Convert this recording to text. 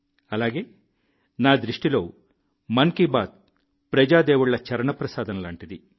అలాగే నా దృష్టిలో మన్ కీ బాత్ ప్రజా దేవుళ్ల చరణ ప్రసాదం లాంటిది